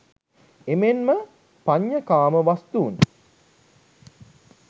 එමෙන්ම පඤ්චකාම වස්තුන්